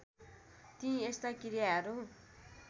ती यस्ता क्रियाहरू